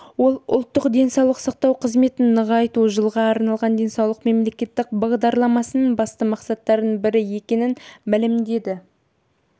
ол ұлттық денсаулық сақтау қызметін нығайту жылға арналған денсаулық мемлекеттік бағдарламасының басты мақсаттарының бірі екенін мәлімдеді